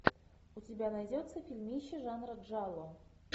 у тебя найдется фильмище жанра джалло